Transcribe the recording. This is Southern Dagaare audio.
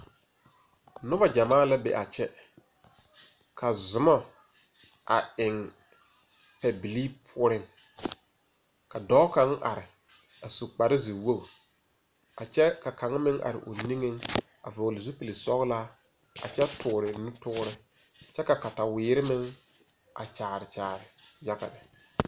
Nobɔ gyamaa la be a kyɛ. Ka zumɔ a eŋ pɛbilii poʊreŋ. Ka dɔɔ kang are a su kparo zie woge. A kyɛ ka kanga meŋ are o niŋe a vogle zupul sɔglaa a kyɛ toore nu toore. Kyɛ ka katawiere meŋ a kyaare kyaare yaga lɛ.